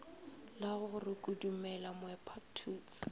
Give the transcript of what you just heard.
la go re kodumela moepathutse